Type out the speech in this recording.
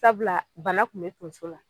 Sabula bana kun be tonso la